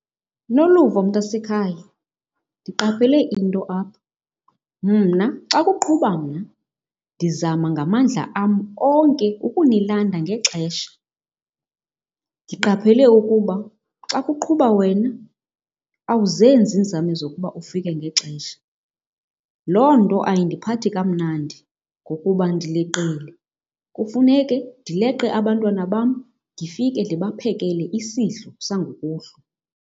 Noluvo, mntasekhaya ndiqaphele into apha. Mna xa kuqhuba mna ndizama ngamandla am onke ukunilanda ngexesha. Ndiqaphele ukuba xa kuqhuba wena awuzenzi iinzame zokuba ufike ngexesha. Loo nto ayindiphathi kamnandi ngokuba ndileqile, kufuneke ndileqe abantwana bam ndifike ndibaphekele isidlo sangokuhlwa.